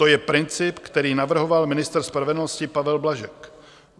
To je princip, který navrhoval ministr spravedlnosti Pavel Blažek.